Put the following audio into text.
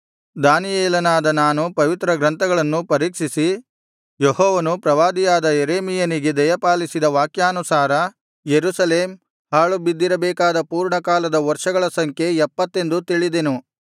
ದಾನಿಯೇಲನಾದ ನಾನು ಪವಿತ್ರಗ್ರಂಥಗಳನ್ನು ಪರೀಕ್ಷಿಸಿ ಯೆಹೋವನು ಪ್ರವಾದಿಯಾದ ಯೆರೆಮೀಯನಿಗೆ ದಯಪಾಲಿಸಿದ ವಾಕ್ಯಾನುಸಾರ ಯೆರೂಸಲೇಮ್ ಹಾಳು ಬಿದ್ದಿರಬೇಕಾದ ಪೂರ್ಣಕಾಲದ ವರ್ಷಗಳ ಸಂಖ್ಯೆ ಎಪ್ಪತ್ತೆಂದು ತಿಳಿದೆನು